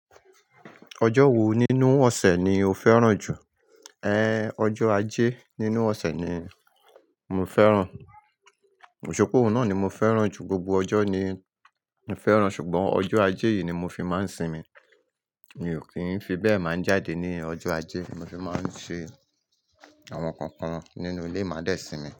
Ọjọ́ wo nínú ọ̀sẹ̀ ni o fẹ́ràn jù? Ọjọ́ ajé nínú ọ̀sẹ̀ ni mo fẹ́ràn. Òṣùpá òun náà ni mo fẹ́ràn jù. Gbogbo ọjọ́ ni mo fẹ́ràn ṣùgbọ́n ọjọ́ ajé yìí ni mo fi máa ń sinmi. Mi ò kí ń fi bẹ́ẹ̀ máa jáde ní ọjọ́ ajé, mo fi máa ń ṣe àwọn kankan nínú ilé máa dẹ́ sinmi.